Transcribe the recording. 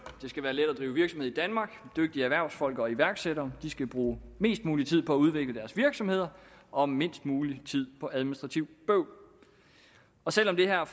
det skal være let at drive virksomhed i danmark dygtige erhvervsfolk og iværksættere skal bruge mest mulig tid på at udvikle deres virksomheder og mindst mulig tid på administrativt bøvl og selv om det her